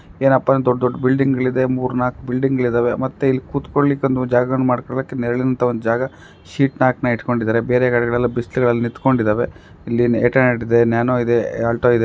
ಏನಪ್ಪಾ ದೊಡ್ಡ್ ದೊಡ್ಡ್ ಬಿಲ್ಡಿಂಗ್ ಗಳಿದೆ ಮೂರ್ ನಾಲ್ಕ್ ಬಿಲ್ಡಿಂಗ್ ಗಳಿದ್ದಾವೆ ಮತ್ತೆ ಇಲ್ಲಿ ಕುತ್ಕೊಳ್ಲಿಕ್ಕೆ ಅಂದು ಜಾಗಗಳನ್ನು ಮಾಡ್ಕೊಳ್ಳೋಕೆ ನೆರಳಿನಂತಹ ಒಂದ್ ಜಾಗ ಶೀಟ್ ನ್ಯಾಕ್ನ ಇಟ್ಕೊಂಡಿದ್ದಾರೆ ಬೇರೆ ಕಡೆಗಳಲ್ಲೆಲ್ಲಾ ಬಿಸಲುಗಳಲ್ಲೆಲ್ಲ ನಿತ್ಕೊಂಡಿದ್ದವೇ ಇಲ್ಲಿ ಏಯ್ಟ್ ಹಂಡ್ರೆಡ್ ಇದೆ ನ್ಯಾನೋ ಇದೆ ಆಲ್ಟೊ ಇದೆ.